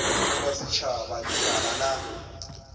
le wa setšhaba lekala la